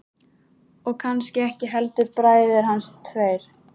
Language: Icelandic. Og kannski ekki heldur bræður hans tveir.